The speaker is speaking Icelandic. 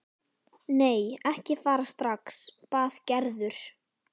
Nei, ekki fara strax bað Gerður.